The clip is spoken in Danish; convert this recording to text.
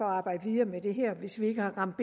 arbejde videre med det her hvis vi ikke har ramt